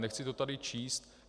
Nechci to tady číst.